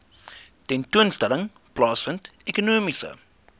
tentoonstelling plaasvind ekonomiese